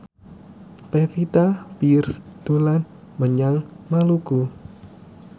Pevita Pearce dolan menyang Maluku